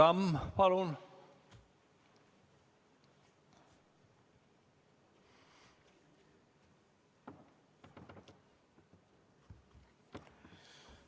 Raivo Tamm, palun!